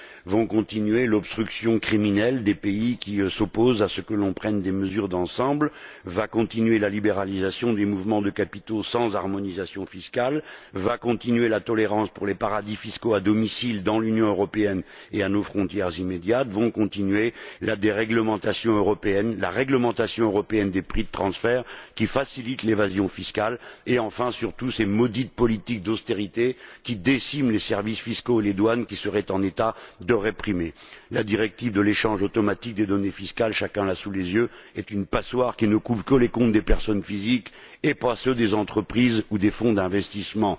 Va continuer l'obstruction criminelle des pays qui s'opposent à ce que l'on prenne des mesures d'ensemble, va continuer la libéralisation des mouvements de capitaux sans harmonisation fiscale, va continuer la tolérance pour les paradis fiscaux à domicile dans l'Union européenne et à nos frontières immédiates, vont continuer la déréglementation européenne, la réglementation européenne des prix de transfert qui facilite l'évasion fiscale et, enfin, surtout, ces maudites politiques d'austérité qui déciment les services fiscaux et les douanes qui seraient en état de réprimer. La directive sur l'échange automatique des données fiscales chacun l'a sous les yeux est une passoire qui ne couvre que les comptes des personnes physiques et pas ceux des entreprises ou des fonds d'investissement.